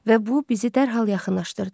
Və bu bizi dərhal yaxınlaşdırdı.